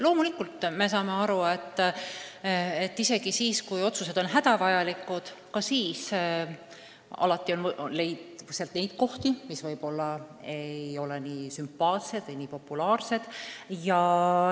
Loomulikult me saame aru, et isegi siis, kui otsused on hädavajalikud, on alati muudatusi, mis ei ole sümpaatsed või populaarsed.